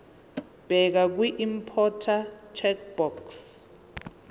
bheka kwiimporter checkbox